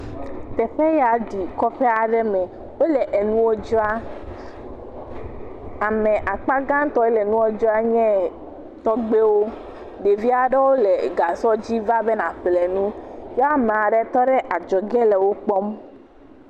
Teƒe ya ɖi kɔƒe aɖe me. Wole nuwo dzram. Ame akpa gãtɔ le nua dzram nye tɔgbiwo. Ɖevi aɖewo le gasɔ dzi va be yaƒle nu ya ame aɖe tɔ ɖe adzɔge le wo kpɔm.